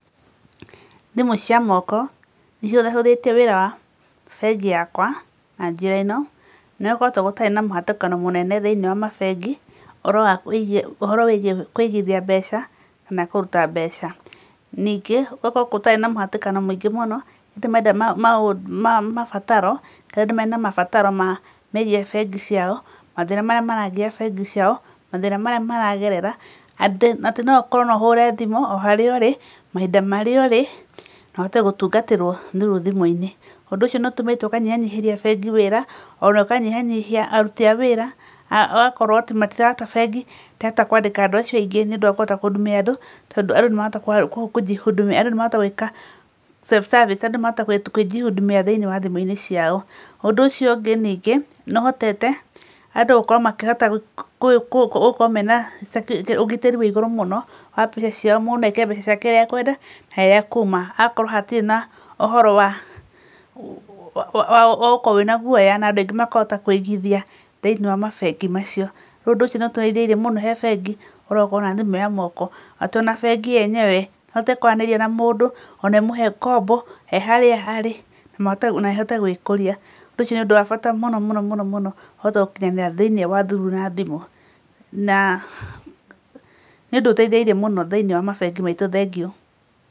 Thimũ cia moko nĩcihũthahũthĩtie wĩra wa bengi yakwa na njĩra ĩno, nĩgũkoretwo gũtarĩ na mũhatĩkano mũnene thĩiniĩ wa mabengĩ ũhoro wĩgĩĩ kũigĩthia mbeca kana kũruta mbeca. Ningĩ gũgakorwo gũtarĩ na mũhatĩkano mũingĩ mũno, rĩrĩa andũ mena mabataro megĩĩ bengi ciao, mathĩna marĩa maragiya bengi ciao, mathĩna marĩa maragerera atĩ no ũkorwo no ũhũre thimũ o harĩa ũrĩ mahinda marĩa ũrĩ na ũhote gũtungatĩrwo rĩu thimũ-inĩ. Ũndũ ũcio nĩ ũtũmĩte ũkanyihanyihĩria bengi wĩra, ona ũkanyihanyihia aruti a wĩra ũgakorwo tu matiraruta bengi ĩkĩhota kwandĩka andũ acio aingĩ nĩ ũndũ wa kũhota kũ hudumia andũ tondũ andũ nĩ marahota kũ jihudumia andũ nĩ marahota gwĩka self service, andũ nĩ marahota kwĩ jihudumia thĩiniĩ wa thimũ-inĩ ciao. Ũndũ ũcio ũngĩ ningĩ nohotete andũ gũkorwo makĩhota gũkorwo mena ũgitĩri wĩ igũrũ mũno na mũndũ no aige mbeca ciake ũrĩa ekwenda harĩa ekuma, okorwo hatirĩ na ũhoro wa gũkorwo wĩna guoya na andũ aingĩ makahota kũigĩthia thĩiniĩ wa mabengi macio. Rĩu ũndũ ũcio nĩũtũhũthĩirie mũno he bengi ũhoro wa gũkorwo na thimũ ya moko, atĩ ona bengi yenyewe no ĩhote kwaranĩria na mũndũ ona ĩmũhe ngombo eharĩa arĩ na ĩhote gwĩkũria. Ũcio nĩ ũndũ wa bata mũno mũno mũno ũhote gũkinyanĩra thĩiniĩ wa through na thimũ na nĩ ũndũ ũteithĩrĩirie mũno thĩinĩ wa mabengi maitũ, thengiũ.